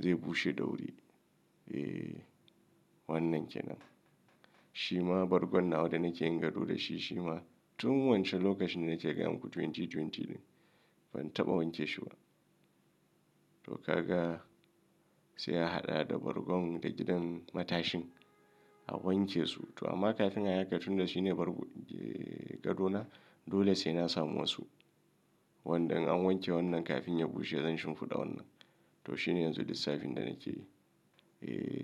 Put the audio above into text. zai bushe da wuri. Eh wannan kenan. Shi ma bargon nawa da nake yin gado da shi shi ma tun wancan lokacin da nake gaya muku 2020 din ban taɓa wanke shi ba. To kaga sai a haɗa da bargon da gidan matashin a wanke su. To amma kafin a yi haka tun da shi ne bargon gadona dole sai na samu wasu. Wanda in an wanke wannan kafin ya bushe zan shimfiɗa wannan. To shi ne yanzu lissafin da nake yi. Eh.